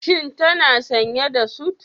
Shi tana sanye da sut.